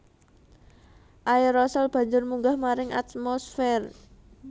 Aérosol banjur munggah maring atmosfér